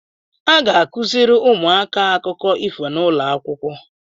A ga-akụzịrị ụmụaka akụkọ ifo n’ụlọakwụkwọ